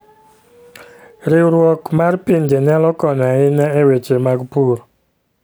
Riwruok mar pinje nyalo konyo ahinya e weche mag pur.